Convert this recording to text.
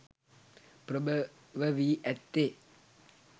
ප්‍රභව වී ඇත්තේ